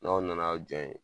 N'aw nan'aw jɔ yen